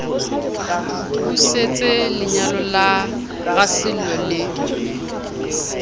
busetse lenyalo la rasello le